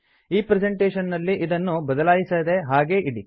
ಈ ಪ್ರೆಸೆಂಟೇಶನ್ ನಲ್ಲಿ ಇದನ್ನು ಬದಲಾಯಿಸದೇ ಹಾಗೇ ಇಡಿ